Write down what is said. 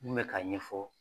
N kun bɛ ka ɲɛfɔ.